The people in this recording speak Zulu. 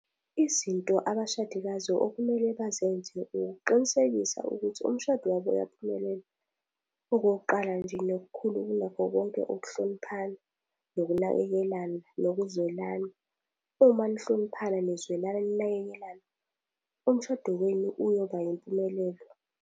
Izinto abashadikazi okumele bazenze ukuqinisekisa ukuthi umshado wabo uyaphumelela. Okokuqala nje nokukhulu kunakho konke ukuhloniphana, nokunakekelana, nokuzwelana. Uma nihloniphana, nizwelana, ninakekelana, umshado wenu uyoba impumelelo.